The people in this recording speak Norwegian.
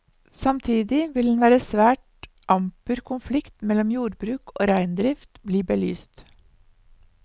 Samtidig vil en svært amper konflikt mellom jordbruk og reindrift bli belyst.